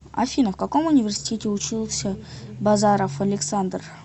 афина в каком университете учился базаров александр